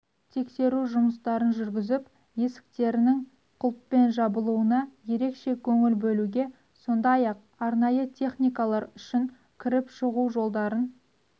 тексеру жұмыстарын жүргізіп есіктерінің құлыппен жабылуына ерекше көңіл бөлуге сондай-ақ арнайы техникалар үшін кіріп шығужолдарын